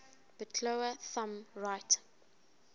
bitola thumb right